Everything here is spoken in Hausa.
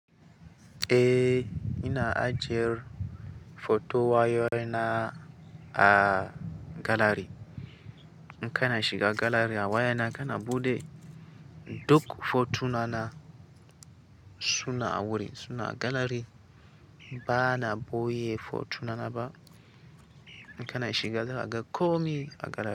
Eh, ina ajiyar foton wayoyina a galari. In ka na shiga galari a wayana, ka na buɗe duk fotuna na suna a wurin, suna a galari. Ba na ɓoye fotuna na ba. In ka na shiga za'a ga komi a galari.